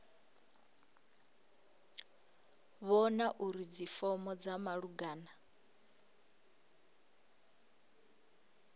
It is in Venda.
vhona uri dzifomo dza malugana